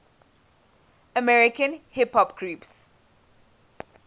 american hip hop groups